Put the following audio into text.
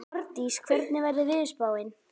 Ardís, hvernig er veðurspáin?